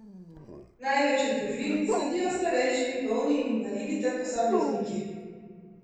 Največ je družin, sledijo starejši, bolni in invalidi ter posamezniki.